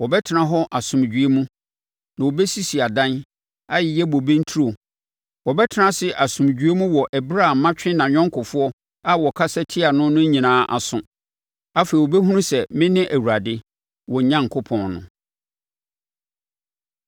Wɔbɛtena hɔ asomdwoeɛ mu na wɔbɛsisi adan, ayeyɛ bobe nturo; Wɔbɛtena ase asomdwoeɛ mu wɔ ɛberɛ a matwe nʼayɔnkofoɔ a wɔkasa tiaa no no nyinaa aso. Afei wɔbɛhunu sɛ mene Awurade, wɔn Onyankopɔn no.’ ”